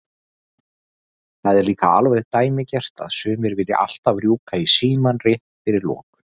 Það er líka alveg dæmigert að sumir vilja alltaf rjúka í símann rétt fyrir lokun.